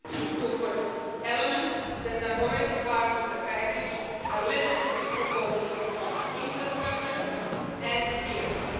The first two elements that are already part of the package are legislative proposals on infrastructure and vehicles.